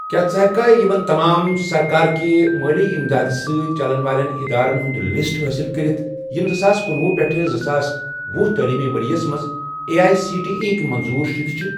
کیٛاہ ژٕ ہیٚککھا یِمَن تمام سرکار کہِ مٲلی اِمداد سٟتؠ چَلن والیٚن ادارن ہُنٛد لسٹ حٲصِل کٔرتھ یِم زٕساس کنُۄہُ پیٹھ زٕساس ۄہُ تعلیٖمی ورۍ یَس مَنٛز A I C T E یٕکۍ منظوٗر شُدٕ چھِ؟